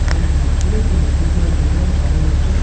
और एक व्यक्ति है जो नीचे की ओर देख रहा है और सारे वर्कर --